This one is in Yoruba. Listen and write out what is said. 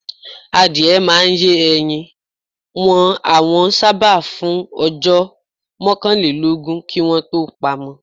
Àdìẹ́ màá n yè ẹ̀yìn, wọn àwà ṣábà fún ọjọ́ mọ̀kànlẹ̀lọ́gún kí wọn tó pàmọ̀.